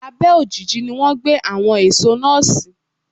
Abẹ́ ojiji ni wọ́n gbé àwọn èso náà sí.